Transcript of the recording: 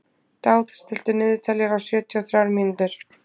Dáð, stilltu niðurteljara á sjötíu og þrjár mínútur.